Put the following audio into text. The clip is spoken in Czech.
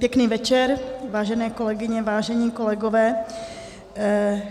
Pěkný večer, vážené kolegyně, vážení kolegové.